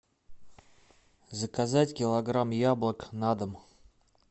заказать килограмм яблок на дом